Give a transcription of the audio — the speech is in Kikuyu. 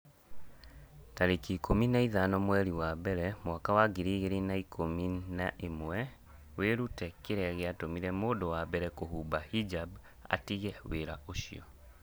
tarĩki ikũmi na ithano mweri wa mbere mwaka wa ngiri igĩrĩ na ikũmi na ĩmweWĩrute kĩrĩa gĩatũmire mũndũ wa mbere kũhumba hijab 'atige wĩra ũcio.